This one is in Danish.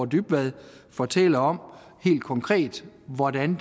dybvad fortælle om helt konkret hvordan